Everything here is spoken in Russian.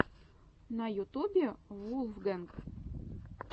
на ютубе вулфгэнг